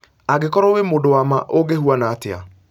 angĩkorwo wĩmũndũ wa maa ungĩhwana atĩa